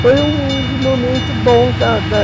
Foi um dos momentos bons da da